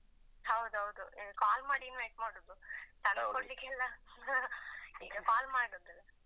ಹೌದು ಹೌದು call ಮಾಡಿ invite ಮಾಡುದು. ತಂದು ಕೊಡ್ಲಿಕ್ಕೆಲ್ಲ call ಮಾಡುದು.